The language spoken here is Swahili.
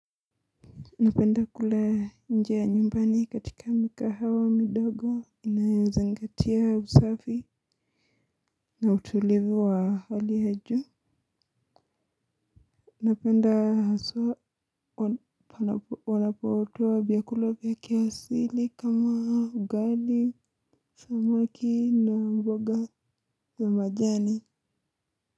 Napenda kula nje ya nyumbani katika mikahawa midogo inayo zingatia usafi na utulivu wa hali ya juu. Napenda hasa wanapotoa vyakula vya kiasili kama ugali, samaki na mboga za majani.